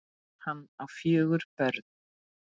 Hann á fjögur börn.